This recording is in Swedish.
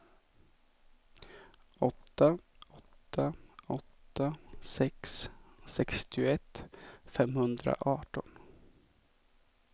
åtta åtta åtta sex sextioett femhundraarton